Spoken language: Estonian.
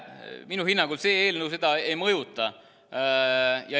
Minu hinnangul see eelnõu seda ei mõjuta.